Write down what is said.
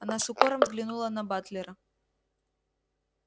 она с укором взглянула на батлера